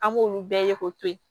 An b'olu bɛɛ ye k'o to yen